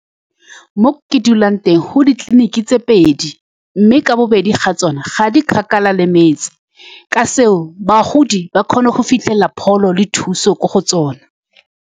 Mo ke dulang teng, go na le ditleliniki tse pedi, mme ka bobedi ga tsone ga di kgakala le metse. Ka seo, bagodi ba kgona go fitlhelela pholo le thuso ko go tsone.